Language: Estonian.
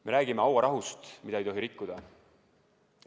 Me räägime hauarahust, mida ei tohi rikkuda.